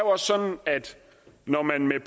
også sådan at når man med